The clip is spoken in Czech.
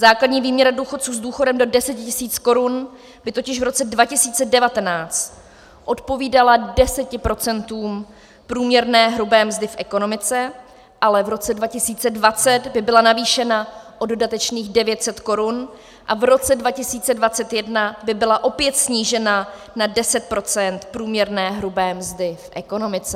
Základní výměra důchodců s důchodem do 10 000 Kč by totiž v roce 2019 odpovídala 10 % průměrné hrubé mzdy v ekonomice, ale v roce 2020 by byla navýšena o dodatečných 900 Kč a v roce 2021 by byla opět snížena na 10 % průměrné hrubé mzdy v ekonomice.